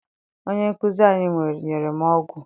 Onye nkụzi anyị nyere m ọgwụ.